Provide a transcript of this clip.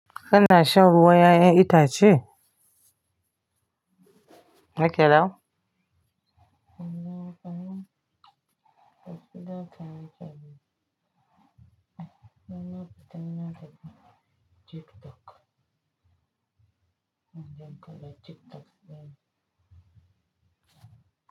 Kana shan ruwa yayan itace? Makaɗau.